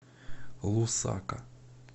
лусака